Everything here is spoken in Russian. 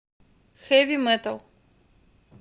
хэви метал